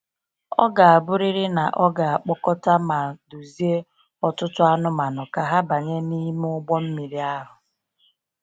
Ọ ga abụrịrị na ọ ga akpọkọta ma duzie ọtụtụ anụmanụ ka ha banye n’ime ụgbọ mmiri ahụ.